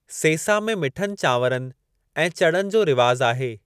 सेसा में मिठनि चांवरनि ऐं चणनि जो रिवाजु आहे।